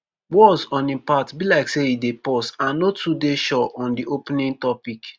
walz on im part be like say e dey pause and no too dey sure on di opening topic.